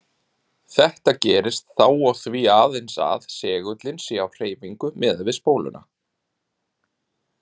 Þetta gerist þá og því aðeins að segullinn sé á hreyfingu miðað við spóluna.